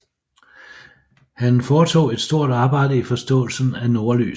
Han foretog et stort arbejde i forståelsen af nordlys